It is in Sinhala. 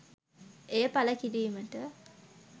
එය පළ කිරීමට